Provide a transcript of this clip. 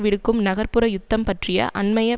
விடுக்கும் நகர் புற யுத்தம் பற்றிய அண்மைய